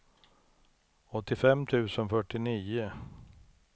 åttiofem tusen fyrtionio